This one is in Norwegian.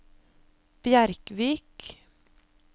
Bjerkvik